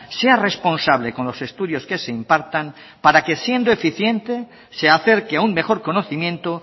sea responsable con los estudios que se impartan para que siendo eficiente se acerque a un mejor conocimiento